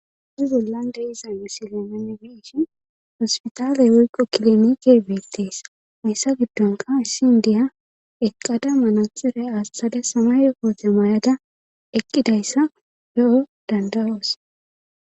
uzi bollan de iza misilemenebishin hospitaaley woyqo kilomike beettees hayssa giddonka issi indiya eqqada manaxire astade sama yokoote may7ada eqqidayssa he7o dandawoos